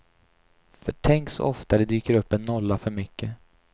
För tänk så ofta det dyker upp en nolla för mycket.